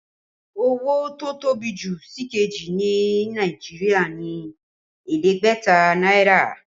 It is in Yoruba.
Owó tó tóbi jù sìkejì ní Nàìjíríà ni ẹ̀ẹ́dẹ́gbẹ̀ta náírà